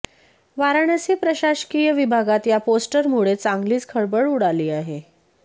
वाराणसी प्रशासकीय विभागात या पोस्टरमुळे चांगलीच खळबळ उडाली आहे